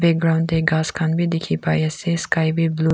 ground te ghass khan bi dikhi pai ase sky bi blue .